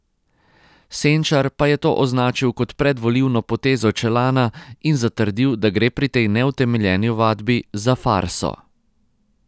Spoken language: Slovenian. Senčar pa je to označil kot predvolilno potezo Čelana in zatrdil, da gre pri tej neutemeljeni ovadbi za farso.